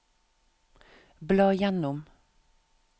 bla gjennom